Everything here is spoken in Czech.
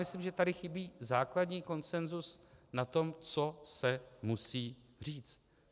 Myslím, že tady chybí základní konsenzus na tom, co se musí říct.